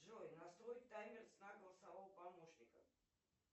джой настрой таймер сна голосового помощника